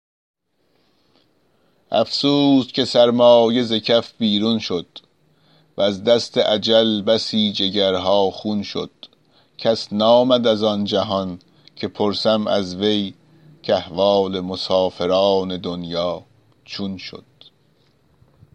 افسوس که سرمایه ز کف بیرون شد وز دست اجل بسی جگرها خون شد کس نآمد از آن جهان که پرسم از وی کاحوال مسافران دنیا چون شد